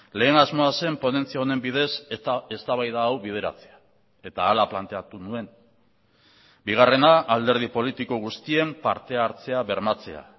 lehen asmoa zen ponentzia honen bidez eta eztabaida hau bideratzea eta hala planteatu nuen bigarrena alderdi politiko guztien partehartzea bermatzea